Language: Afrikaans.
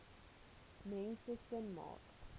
mense sin maak